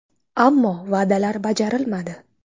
Ammo va’dalar bajarilmadi.